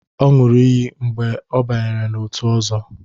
Ọ ṅụrụ iyi mgbe ọ banyere n'otu Ọzo.